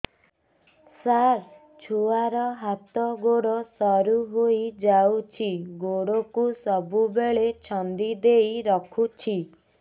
ସାର ଛୁଆର ହାତ ଗୋଡ ସରୁ ହେଇ ଯାଉଛି ଗୋଡ କୁ ସବୁବେଳେ ଛନ୍ଦିଦେଇ ରଖୁଛି